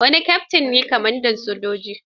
Wani Keftin ne kwamandan sojojin.